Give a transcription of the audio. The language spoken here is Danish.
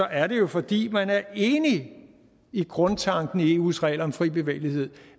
er det jo fordi man er enig i grundtanken i eus regler om fri bevægelighed